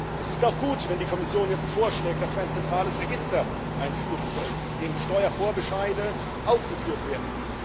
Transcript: Es ist auch gut, wenn die Kommission jetzt vorschlägt, dass wir ein zentrales Register einführen sollen, in dem Steuervorbescheide aufgeführt werden.